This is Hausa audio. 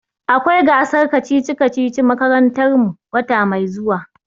Akwai gasar kacici-kacici a makarantar mu wata mai zuwa.